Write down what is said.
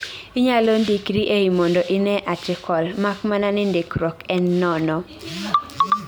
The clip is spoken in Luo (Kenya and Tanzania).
inyalo ndikri ei mondo inee article, mak mana ni ndikruok en nono